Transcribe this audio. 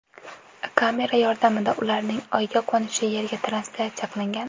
Kamera yordamida ularning oyga qo‘nishi Yerga translyatsiya qilingan.